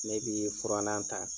Ne bi furannan ta